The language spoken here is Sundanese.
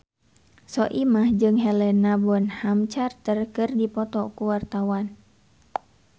Soimah jeung Helena Bonham Carter keur dipoto ku wartawan